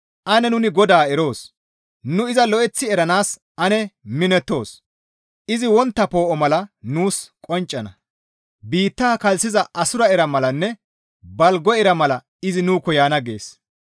Ane nuni GODAA eroos! Nu iza lo7eththi eranaas ane minettoos! Izi wontta poo7o mala nuus qonccana; biitta kalssiza assura ira malanne balgo ira mala izi nuukko yaana» gees.